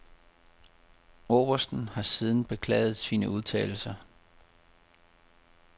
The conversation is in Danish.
Obersten har siden beklaget sine udtalelser.